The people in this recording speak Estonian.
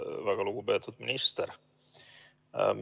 Väga lugupeetud minister!